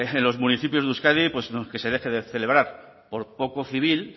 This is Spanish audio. en los municipios de euskadi que se deje de celebrar por poco civil